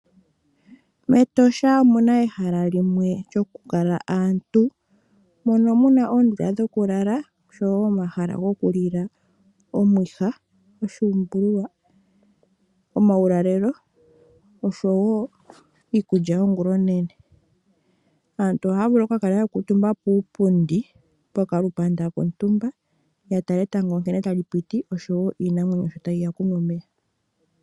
Metosha omuna ehala limwe lyokukala aantu mono muna oondundu dhokulala oshowo omahala goku lila omwiha oshuumbululwa oshowo uulalelo oshowo iikulya yongula .Aantu ohaya vulu okukala ya kuutumba puupundi poka lukanda kontumba yatala etango nkene tali piti oshowo iinamwenyo nkene tayi ende